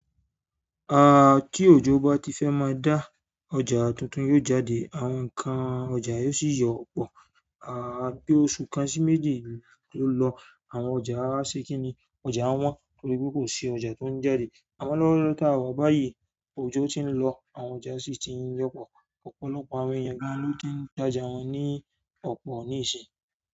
A ti òjò bá ti fẹ́ má a dá, ọjà tuntun yóò jáde, àwọn ǹkan ọjà yóò sì yọ́pọ̀. Ah bi oṣù kan si méjì to lo àwọn ọjà se kin ni ọjà won torí pe ko si ọjà to n jáde. Àmọ́ lọ́wọ́lọ́wọ́ táwa báyìí, òjò ti ń lọ, àwọn ọjà sì ti ń yọ́pọ̀. Ọ̀pọ̀lọpọ̀ àwọn èèyàn gan lọ́ ti ń dájà wọn ní ọ̀pọ̀ níìsín.